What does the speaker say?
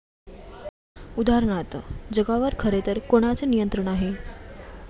उदाहरणार्थ, जगावर खरेतर कोणाचे नियंत्रण आहे?